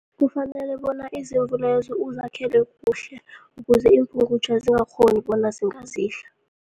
Kufanele bona izimvu lezo uzakhele kuhle, ukuze iimpungutjha zingakghoni bona zingazidla.